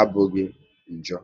abụghị njọ